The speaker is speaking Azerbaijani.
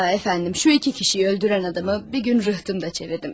Efendim, şu iki kişiyi öldürən adamı bir gün rıhtımda çevirdim.